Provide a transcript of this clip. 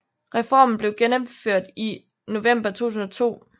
Reformen blev gennemført i november 2002